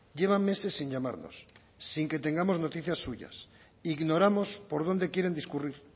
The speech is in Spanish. llevan meses sin llamarnos sin que tengamos noticias suyas ignoramos por dónde quieren discurrir